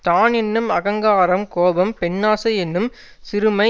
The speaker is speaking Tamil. தான் என்னும் அகங்காரம் கோபம் பெண்ணாசை என்னும் சிறுமை